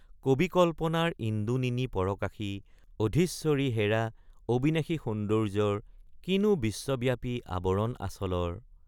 কবি কল্পনাৰ ইন্দু নিনি পৰকাশী অধিশ্বৰী হেৰা অবিনাশী সৌন্দৰ্যৰ কিনো বিশ্বব্যাপী আবৰণ আচলৰ।